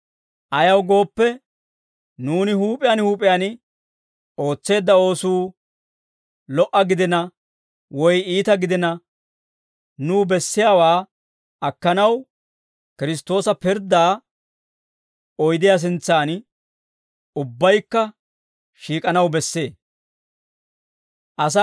Ayaw gooppe, nuuni huup'iyaan huup'iyaan ootseedda oosuu lo"a gidina, woy iita gidina, nuw bessiyaawaa akkanaw, Kiristtoosa pirddaa oydiyaa sintsan ubbaykka shiik'anaw bessee.